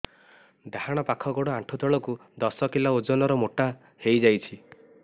ଡାହାଣ ପାଖ ଗୋଡ଼ ଆଣ୍ଠୁ ତଳକୁ ଦଶ କିଲ ଓଜନ ର ମୋଟା ହେଇଯାଇଛି